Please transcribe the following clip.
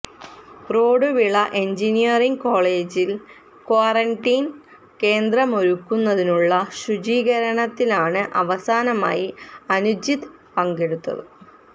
Roduvila engineering കോളേജിൽ quarantine കേന്ദ്രമൊരുക്കുന്നതിനുള്ള ശുചീകരണത്തിലാണ് അവസാനമായി അനുജിത്ത് പങ്കെടുത്തത്